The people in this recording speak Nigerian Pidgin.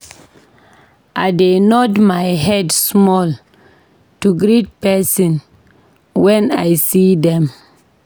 I dey nod my head small to greet pesin wen I see dem.